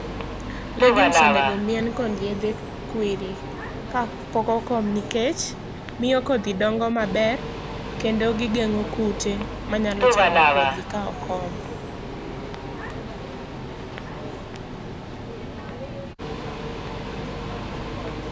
Legumes onego omien kod yedhe kwiri ka pok okom nikech miyo kodhi dongo maber kendo gi geng'o kute ma nyalo chamo kodhi ka okom